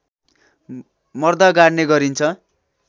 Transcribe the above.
मर्दा गाड्ने गरिन्छ